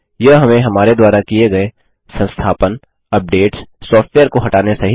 यह हमें हमारे द्वारा किए गए संस्थापनअपडेट्स सॉफ्टवेयर को हटाने सहित